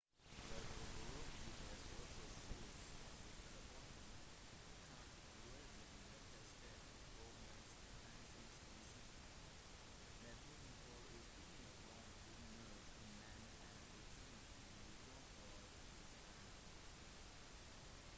det å bruke gps-apper på smarttelefonen kan være den letteste og mest hensiktsmessige metoden for å finne fram på når man er utenfor eget land